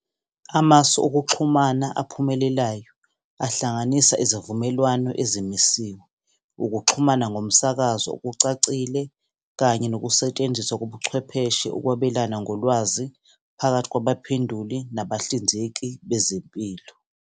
Amasu okuxhumana aphumelelayo ahlanganisa izivumelwano ezimisiwe, ukuxhumana ngomsakazo okucacile, kanye nokusetshenziswa kobuchwepheshe ukwabelana ngolwazi phakathi kwabaphenduli nabahlinzeki bezempilo.